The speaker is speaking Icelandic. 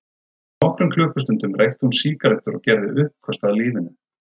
Fyrir nokkrum klukkustundum reykti hún sígarettur og gerði uppköst að lífinu.